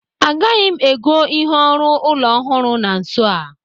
Agaghị m ègó ihe ọrụ ụlọ ọhụrụ na nso a.